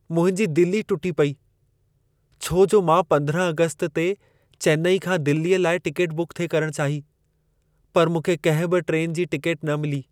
मुंहिंजी दिल ई टुटी पेई, छो जो मां 15 आगस्त ते चेन्नई खां दिल्लीअ लाइ टिकेट बुक थिए करण चाही, पर मूंखे कंहिं बि ट्रेन जी टिकेट न मिली।